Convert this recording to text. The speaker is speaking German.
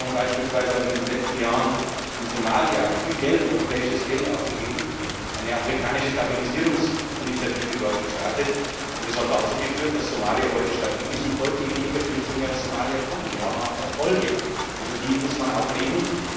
Die EU Kommission beispielsweise hat in den letzten Jahren in Somalia viel europäisches Geld ausgegeben, dort eine afrikanische Stabilisierungsinitiative gestartet, was dazu geführt hat, dass Somalia heute stabil ist und deutlich weniger Flüchtlinge aus Somalia kommen. Wir haben auch Erfolge, und über die muss man auch reden.